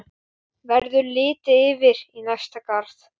Verður litið yfir í næsta garð.